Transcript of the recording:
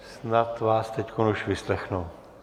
Snad vás teď už vyslechnou.